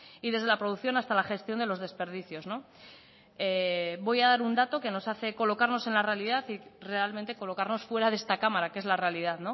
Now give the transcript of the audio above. y desde la producción hasta la gestión de los desperdicios voy a dar un dato que nos hace colocarnos en la realidad y realmente colocarnos fuera de esta cámara que es la realidad